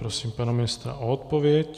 Prosím pana ministra o odpověď.